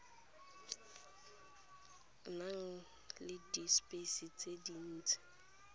nang le dispice tse dintsi